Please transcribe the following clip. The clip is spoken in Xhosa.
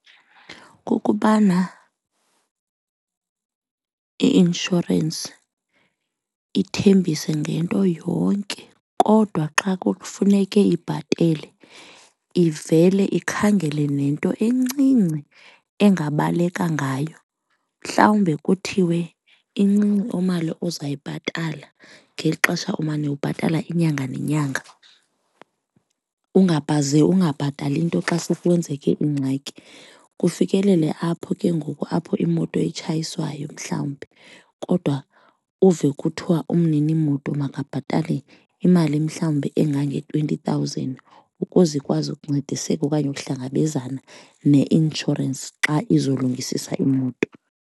Kukubana i-inshorensi ithembise ngento yonke kodwa xa kufuneke ibhatele ivele ikhangele nento encinci engabaleka ngayo. Mhlawumbe kuthiwe incinci imali ozayibhatala ngeli xesha umane ubhatala inyanga nenyanga, ungabhatali nto xa kwenzeke ingxaki. Kufikelele apho ke ngoku apho iimoto atshayiswayo mhlawumbi kodwa uve kuthiwa umninimoto makabhatale imali mhlawumbi engange-twenty thousand ukuze ikwazi ukuncediseka okanye ukuhlangabezana neinshorensi xa izolungisiswa imoto.